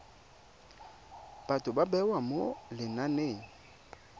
batho ba bewa mo lenaneng